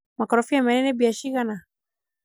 makorobia merĩ nĩ mbia cigana